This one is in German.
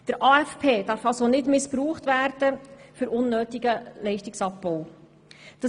Der AFP darf somit nicht für einen unnötigen Leistungsabbau missbraucht werden.